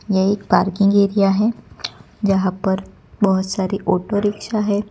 ये एक parking area है जहां पर बहोत सारी ओटो रिक्शा है।